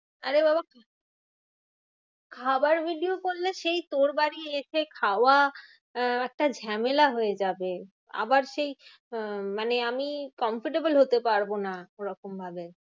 আরে বাবা খাওয়ার video করলে সেই তোর বাড়ি এসে খাওয়া আহ আচ্ছা ঝামেলা হয়ে যাবে। আবার সেই আহ মানে আমি comfortable হতে পারবো না ওরকম ভাবে।